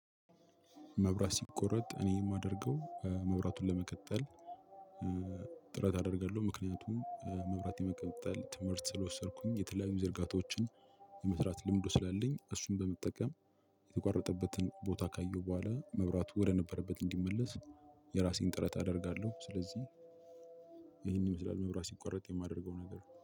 መብራት ሲቆረጥ እኔ የማደርገው መብራቱን ለመቀጠል ጥረት አደርጋለሁ ምክንያቱም መብራት የመቀጠል ትምህርት ስለወሰድኩኝ የተለያዩ ዝርጋታዎችን የመስራት ልምዱ ስላለኝ እሱን በመጠቀም የተቋረጠበትን ቦታ ካየው በኋላ መብራቱ ወደነበረበት እንዲመለስ የራሴን ጥረት አደርጋለሁ። ስለዚህ ይሄን ይመስላል መብራት ሲቋረጥ የማደርገው ነገር።